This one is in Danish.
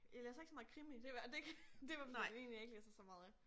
Jeg læser ikke så meget krimi det var det det var i hvert fald én jeg ikke læser så meget af